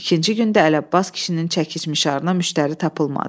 İkinci gün də Ələbbas kişinin çəkicmişarına müştəri tapılmadı.